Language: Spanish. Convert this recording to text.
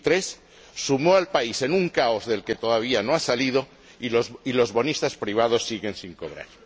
2003 sumió al país en un caos del que todavía no ha salido y los bonistas privados siguen sin cobrar.